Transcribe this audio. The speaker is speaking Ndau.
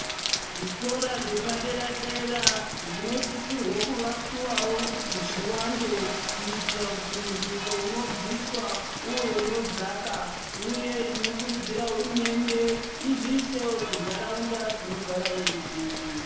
Zvikora zvepadera dera zvinosisirwawo kuvakiwawo kuti zviwande kuitira kuti muduso unobviswa uve unodzaka, Uye tinokurudzira hurumende izviisewo kuntaraunda dzinogara veruzhinji.